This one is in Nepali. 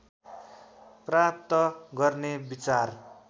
प्राप्त गर्ने विचार